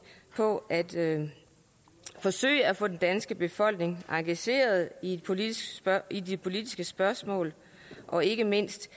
på at forsøge at få den danske befolkning engageret i i de politiske spørgsmål og ikke mindst